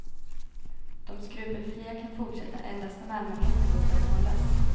De skrupelfria kan fortsätta endast om allmänheten låter dem hållas.